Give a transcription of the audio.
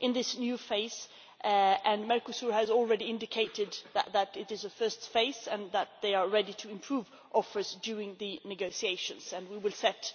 in this new phase and Mercosur has already indicated that it is a first phase and that they are ready to improve offers during the negotiations, and we will set